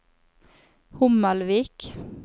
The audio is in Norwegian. Hommelvik